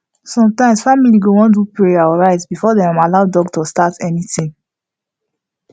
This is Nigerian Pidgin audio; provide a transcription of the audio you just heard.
sometimes family go wan do prayer or rites before dem allow doctor start anything